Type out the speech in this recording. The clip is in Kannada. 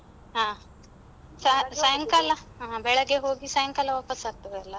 ಹಾ ಸಾಯ್ ಸಾಯಂಕಾಲ ಹ ಬೆಳಗ್ಗೆ ಹೋಗಿ ಸಾಯಂಕಾಲ ವಾಪಾಸ್ ಆಗ್ತದಲ್ಲ?